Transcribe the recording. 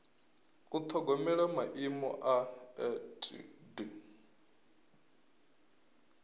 u ṱhogomela maimo a etd